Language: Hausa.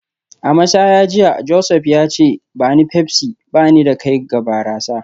A mashaya jiya, Joseph ya ce; ba ni Pepsi, ba ni da kai ga barasa